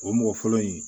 O mɔgɔ fɔlɔ in